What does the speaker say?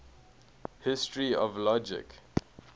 history of logic